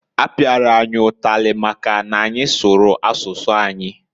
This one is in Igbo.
Apiara anyị ụtalị maka n'anyị sụrụ asụsụ anyị.